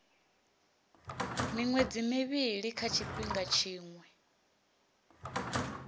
miṅwedzi mivhili kha tshifhinga tshiṅwe